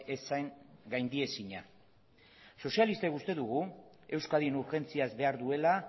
ez zen gaindiezina sozialistek uste dugu euskadin urgentziaz behar duela